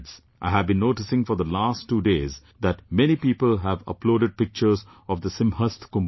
I have been noticing for the last two days that many people have uploaded pictures of the Simhastha Kumbh Mela